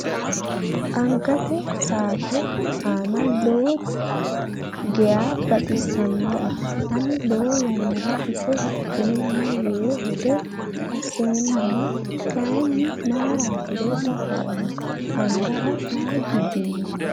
Angate saate ane lowo geyaa baxisannoe. Ani lowo yannara ise hidheema yee hedo asseemmana kayii mayiiratiro dafoomma angara daa gibbinoe.